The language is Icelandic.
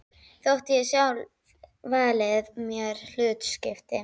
Þótt ég hafi sjálf valið mér hlutskiptið.